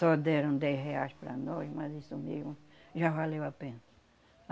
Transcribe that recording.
Só deram dez reais para nós, mas isso mesmo já valeu a pena.